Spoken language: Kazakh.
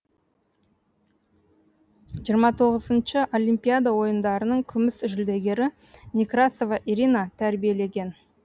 жиырма тоғызыншы олимпиада ойындарының күміс жүлдегері некрасова ирина тәрбиелеген